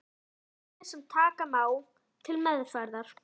Málefni sem taka má til meðferðar.